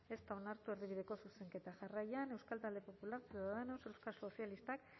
ez da onartu erdibideko zuzenketa jarraian euskal talde popular ciudadanos euskal sozialistak